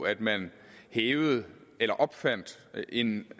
at man hævede eller opfandt en